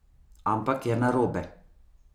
Ampak je narobe.